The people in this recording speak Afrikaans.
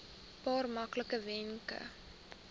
paar maklike wenke